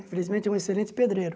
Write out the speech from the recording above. E felizmente, é um excelente pedreiro.